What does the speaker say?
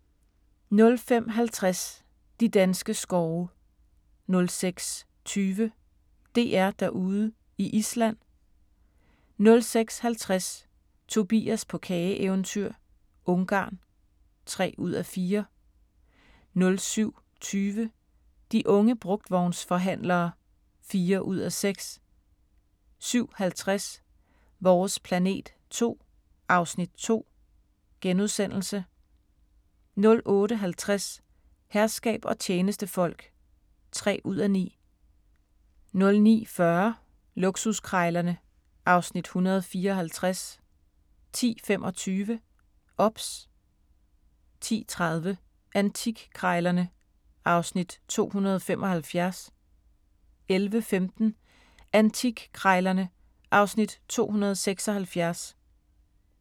05:50: De danske skove 06:20: DR-Derude i Island 06:50: Tobias på kageeventyr – Ungarn (3:4) 07:20: De unge brugtvognsforhandlere (4:6) 07:50: Vores planet 2 (Afs. 2)* 08:50: Herskab og tjenestefolk (3:9) 09:40: Luksuskrejlerne (Afs. 154) 10:25: OBS 10:30: Antikkrejlerne (Afs. 275) 11:15: Antikkrejlerne (Afs. 276)